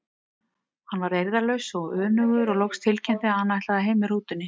Hann varð eirðarlaus og önugur og loks tilkynnti hann að hann ætlaði heim með rútunni.